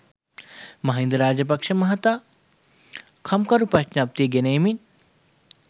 මහින්ද රාජපක්ෂ මහතා කම්කරු ප්‍රඥප්තිය ගෙන එමින්